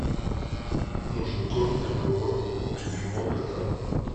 нужен корм для моего любимого кота